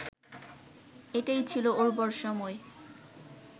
এটাই ছিল উর্বর সময়